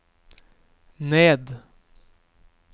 ned